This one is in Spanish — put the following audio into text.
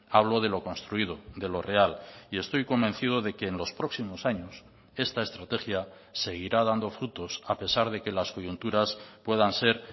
hablo de lo construido de lo real y estoy convencido de que en los próximos años esta estrategia seguirá dando frutos a pesar de que las coyunturas puedan ser